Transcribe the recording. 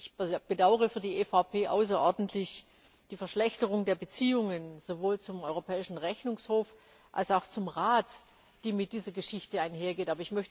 Ich bedaure für die EVP außerordentlich die Verschlechterung der Beziehungen sowohl zum Europäischen Rechnungshof als auch zum Rat, die mit dieser Geschichte einhergeht.